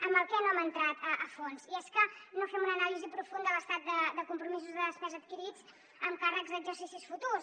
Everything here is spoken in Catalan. en què no hem entrat a fons i és que no fem una anàlisi profunda de l’estat de compromisos de despesa adquirits amb càrrecs d’exercicis futurs